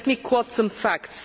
Let me quote some facts.